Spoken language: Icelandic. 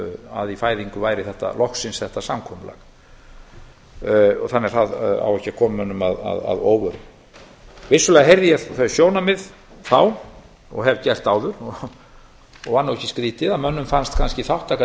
að í fæðingu væri loksins þetta samkomulag það á því ekki að koma mönnum að óvörum vissulega heyrði ég þau sjónarmið þá og hef gert það áður og var nú ekki skrýtið að mönnum fannst þátttaka